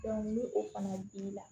ni o fana b'i la